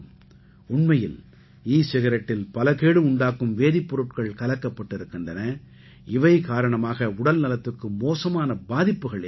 உண்மையில் ஈ சிகரெட்டில் பல கேடு உண்டாக்கும் வேதிப் பொருட்கள் கலக்கப்பட்டிருக்கின்றன இவை காரணமாக உடல்நலத்துக்கு மோசமான பாதிப்புகள் ஏற்படும்